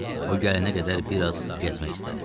O gələnə qədər biraz gəzmək istədim.